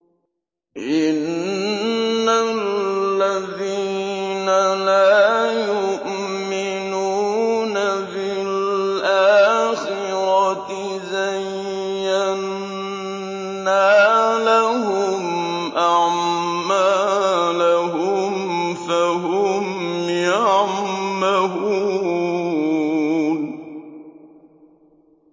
إِنَّ الَّذِينَ لَا يُؤْمِنُونَ بِالْآخِرَةِ زَيَّنَّا لَهُمْ أَعْمَالَهُمْ فَهُمْ يَعْمَهُونَ